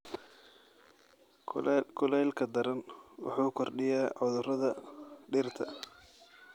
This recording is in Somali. Kulaylka daran wuxuu kordhiyaa cudurrada dhirta.